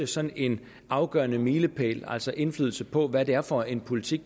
sådan en afgørende milepæl altså indflydelse på hvad det er for en politik